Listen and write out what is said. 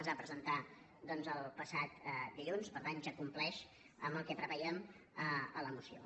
es va presentar doncs el passat dilluns per tant ja compleix amb el que prevèiem a la moció